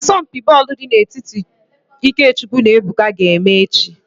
Asọmpi bọọlụ dị n'etiti IkeChukwu na Ebuka ga-eme echi